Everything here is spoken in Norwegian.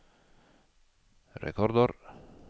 rekordår